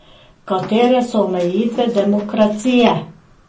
Katere so omejitve demokracije?